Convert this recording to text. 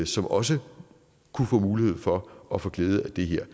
som også kunne få mulighed for at få glæde af det her